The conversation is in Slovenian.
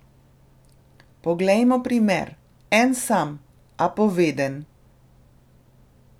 Poglejmo primer, en sam, a poveden.